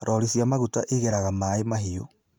Lori cia maguta igeraga MaaĩMahiũ